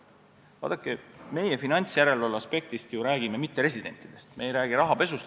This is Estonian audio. Vaadake, meie finantsjärelevalve aspektist ju räägime mitteresidentidest, me ei räägi rahapesust.